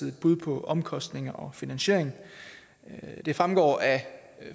et bud på omkostninger og finansiering det fremgår af